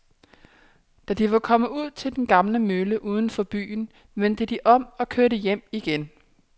Da de var kommet ud til den gamle mølle uden for byen, vendte de om og kørte hjem igen.